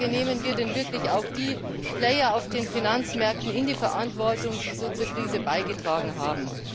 Nehmen wir denn wirklich auch die Player auf den Finanzmärkten in die Verantwortung, die so zur Krise beigetragen haben?